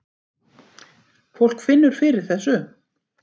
Fólk finnur fyrir þessu